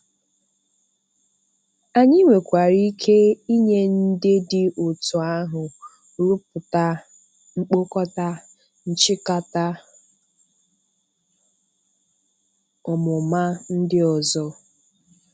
Anyị nwekwara ike inye ndị dị otú ahụ rùpụta mkpokọta nchị̀kàtà ọmụma ndị ọzọ.